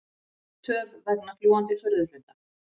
Töf vegna fljúgandi furðuhluta